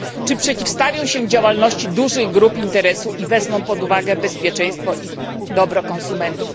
Czy przeciwstawią się działalności dużych grup interesu i wezmą pod uwagę bezpieczeństwo i dobro konsumentów?